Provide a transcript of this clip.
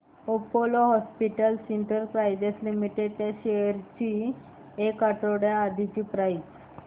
Apollo hospitals enterprise limited shares ची एक आठवड्या आधीची प्राइस